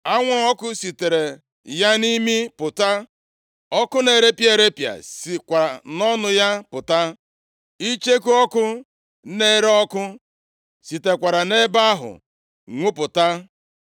Anwụrụ ọkụ sitere ya nʼimi pụta; Ọkụ na-erepịa erepịa sikwa nʼọnụ ya pụta. Icheku ọkụ na-ere ọkụ sitekwara nʼebe ahụ nwupụta.